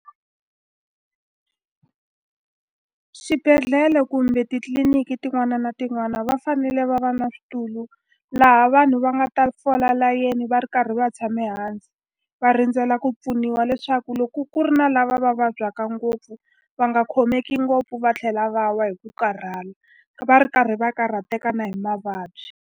Swibedhlele kumbe titliliniki tin'wana na tin'wana va fanele va va na switulu laha vanhu va nga ta fola layeni va ri karhi va tshame hansi, va rindzela ku pfuniwa. Leswaku loko ku ri na lava va vabyaka ngopfu va nga khomeki ngopfu va tlhela va wa hi ku karhala, va ri karhi va karhateka na hi mavabyi.